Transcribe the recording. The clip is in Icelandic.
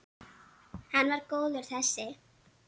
Hann var góður þessi.